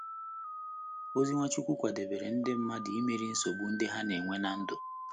Ozi Nwachukwu kwadebere ndị mmadụ imeri nsogbu ndị ha na - enwe ná ndụ